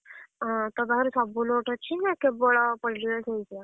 ହଁ ତୋ ପାଖରେ ସବୁ note ଅଛି ନା କେବଳ Political Science ର?